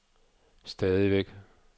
stadigvæk